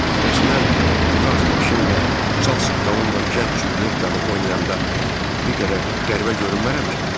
Bəs mən bu daz başım və çal saqqalımla gənc Cülyettanı oynayanda bir qədər qəribə görünmərəm ki?